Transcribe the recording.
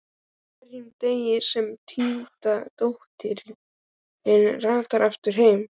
Ekki á hverjum degi sem týnda dóttirin rataði aftur heim.